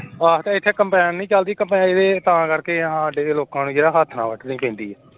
ਆਹ ਐਥੇ combine ਨਹੀਂ ਚਲਦੀ ਹਾਡੇ ਲੋਕਾਂ ਨੂੰ ਹੱਥ ਨਾਲ ਵੱਢਣੀ ਪੈਂਦੀ ਏ